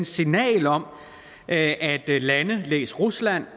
signal om at vi lande læs rusland